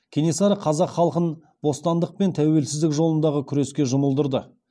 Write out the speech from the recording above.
кенесары қазақ халқын бостандық пен тәуелсіздік жолындағы күреске жұмылдырды